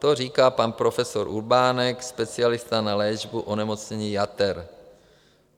To říká pan profesor Urbánek, specialista na léčbu onemocnění jater.